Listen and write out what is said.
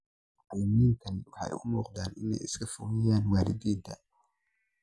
Macalimiintani waxay u muuqdaan inay iska fogeeyaan waalidiinta.